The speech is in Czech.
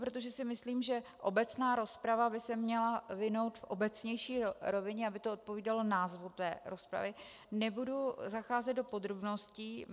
Protože si myslím, že obecná rozprava by se měla vinout v obecnější rovině, aby to odpovídalo názvu té rozpravy, nebudu zacházet do podrobností.